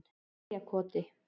Eyjarkoti